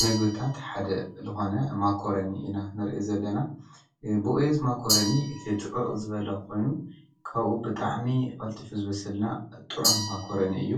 ምግቢታት ሓደ ልኾነ ማኮረኒ ኢና ንርኢ ዘለና ብየዝ ማኮረኒ እቲ ድቕቕ ዝበለ ኾይኑ ካኡ ብጣዕሚ ቐልጢፍ ዝበስል ጥዑም ማኮረኒ እዩ